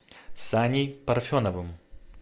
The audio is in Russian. саней парфеновым